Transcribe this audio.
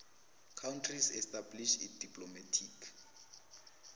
countries established diplomatic